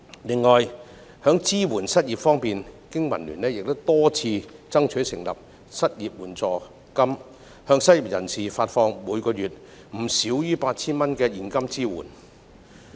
此外，在支援失業人士方面，經民聯多次爭取成立失業援助金，向失業人士每月發放不少於 8,000 元的現金支援。